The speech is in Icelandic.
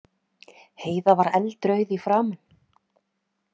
Heiða var eldrauð í framan.